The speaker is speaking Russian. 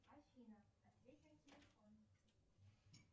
афина ответь на телефон